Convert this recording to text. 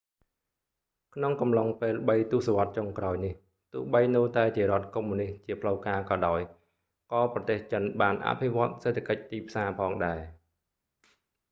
ក្នុងកំឡុងពេលបីទសវត្សចុងក្រោយនេះ ទោះបីនៅតែជារដ្ឋកុម្មុយនិស្តជាផ្លូវការក៏ដោយ ក៏ប្រទេសចិនបានអភិវឌ្ឍសេដ្ឋកិច្ចទីផ្សារផងដែរ